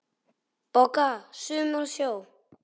BOGGA: Sumir á sjó!